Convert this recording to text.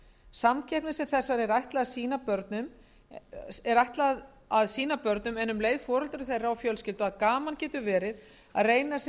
samkeppni sem þessari er ætlað að sýna börnum en um leið foreldrum þeirra og fjölskyldu að gaman getur verið að reyna sig